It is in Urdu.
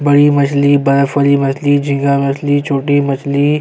بڈی مچھلی بڑافلی مچھلی جھگا مچھلی چوٹی مچھلی -